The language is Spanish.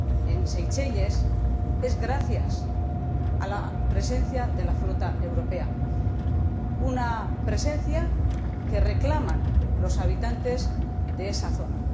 en Seychelles es posible gracias a la presencia de la flota europea, una presencia que reclaman los habitantes de esa zona.